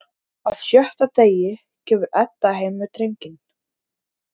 Á sjötta degi kemur Edda heim með drenginn.